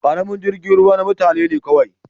Karamin jirgin ruwa na mutane ne kawai.